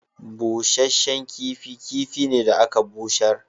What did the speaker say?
Busashen kifi kifi ne da aka bushar.